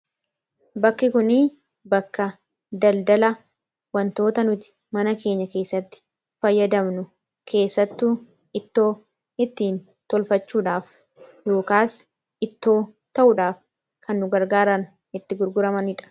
Bakki kunii bakka daldala, wantoota nuti mana keenya keessatti fayyadamnu, keessattuu ittoo ittiin tolfachuudhaaf yookaas ittoo taa'uudhaaf kan nu gargaaran itti gurguramanidha.